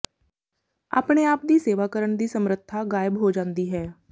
ਆਪਣੇ ਆਪ ਦੀ ਸੇਵਾ ਕਰਨ ਦੀ ਸਮਰੱਥਾ ਗਾਇਬ ਹੋ ਜਾਂਦੀ ਹੈ